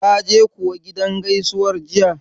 Kaje kuwa gidan gaisuwar jiya?